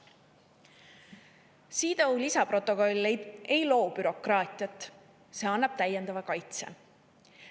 CEDAW lisaprotokoll ei loo bürokraatiat, see annab täiendava kaitse.